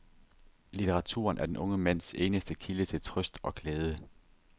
Litteraturen er den unge mands eneste kilde til trøst og glæde.